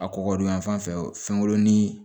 A kɔgɔ don yan fan fɛw ni